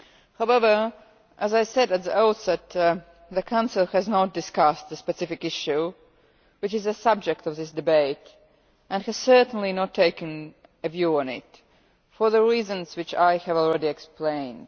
However, as I said at the outset, the Council has not discussed the specific issue which is the subject of this debate, and has certainly not taken a view on it, for the reasons which I have already explained.